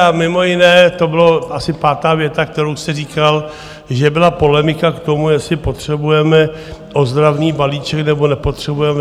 A mimo jiné to byla asi pátá věta, kterou jste říkal, že byla polemika k tomu, jestli potřebujeme ozdravný balíček, nebo nepotřebujeme.